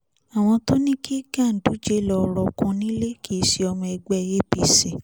àwọn tó ní kí ganduje lọ rọ́ọ̀kùn nílẹ̀ kìí ṣe ọmọ ẹgbẹ́ apc